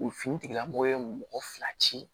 U fini tigilamɔgɔ ye mɔgɔ fila ci